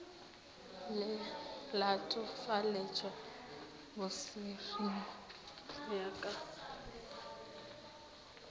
latofaletšwa bosernyi go ya ka